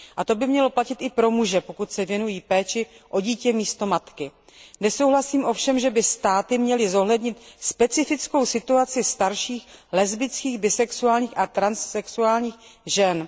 A to by mělo platit i pro muže, pokud se věnují péči o dítě místo matky. Nesouhlasím ovšem, že by státy měly zohlednit specifickou situaci starších lesbických, bisexuálních a transsexuálních žen.